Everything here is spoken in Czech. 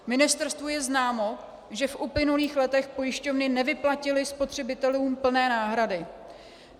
Ministerstvu je známo, že v uplynulých letech pojišťovny nevyplatily spotřebitelům plné náhrady.